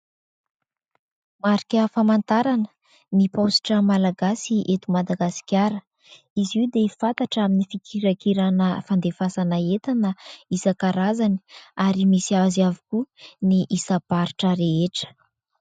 Marika famantarana ny paositra Malagasy eto Madagasikara. Izy io dia fantatra amin'ny fikirakirana fandefasana entana isan- karazany, ary misy azy avokoa ny isam-paritra rehetra.